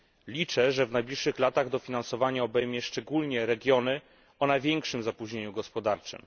Liczę, że w najbliższych latach dofinansowanie obejmie szczególnie regiony o największym zapóźnieniu gospodarczym.